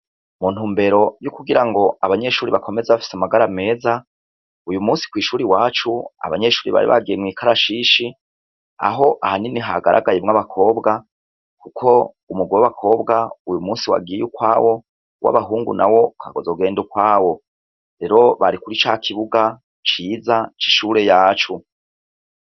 Mu ntumbero y’ukugira ngo abanyeshure bakomeze bafise amagara meza , uyu musi mw’ishure iwacu abanyeshure bari bagiye mw’ikarashishi Aho ahanini hagaragaye abakobwa Kuko umugwi w’abakobwa uyu musi wagiye ukwawo, uw’abahungu nawo ukazogenda ukwawo, rero bari kuri ca kibuga ciza c’ishure ryacu.